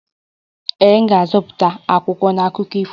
Ee, m ga-azụta akwụkwọ na akụkọ ifo